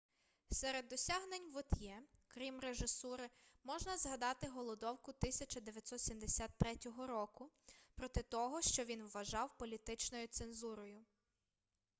серед досягнень вот'є крім режисури можна згадати голодовку 1973 року проти того що він вважав політичною цензурою